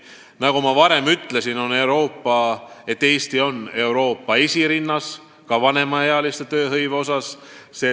Nagu ma varem ütlesin, on Eesti Euroopas esirinnas ka vanemaealiste tööhõive poolest.